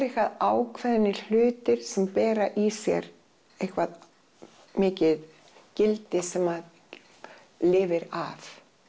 eitthvað ákveðnir hlutir sem bera í sér eitthvað mikið gildi sem að lifir af